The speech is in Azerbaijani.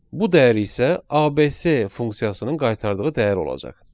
Bu dəyər isə ABC funksiyasının qaytardığı dəyər olacaq.